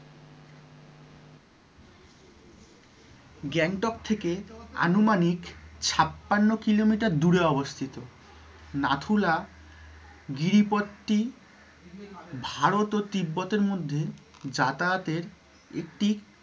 গ্যাংটক থেকে আনুমানিক ছাপ্পান্ন কিলোমিটার দূরে অবস্থিত নাথুলা গিরিপট্টি ভারত ও তিব্বতের মধ্যে যাতায়াতের একটি